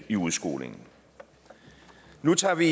i udskolingen nu tager vi